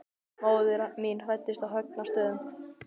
Móðir mín fæddist á Högna- stöðum.